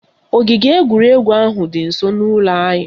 Ogige egwuregwu ahụ dị nsọ n'ụlọ anyị